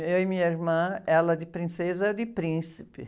Eu e minha irmã, ela de princesa e eu de príncipe.